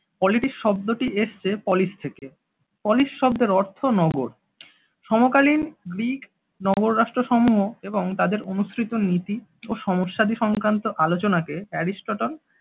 Politics শব্দটি এসেছে polis থেকে। polis শব্দের অর্থ নগর। সমকালীন গ্রিক নগররাষ্ট্রসমূহ এবং তাদের অনুসৃত নীতি ও সমস্যাদি সংক্রান্ত আলোচনাকে অ্যারিস্টট্ল